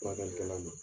Furakɛlikɛla ma